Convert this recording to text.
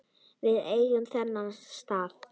Við eigum þennan stað